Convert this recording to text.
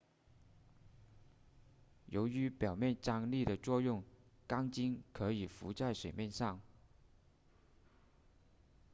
由于表面张力的作用钢针可以浮在水面上